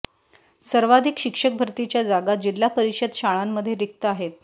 सर्वाधिक शिक्षक भरतीच्या जागा जिल्हा परिषद शाळांमध्ये रिक्त आहेत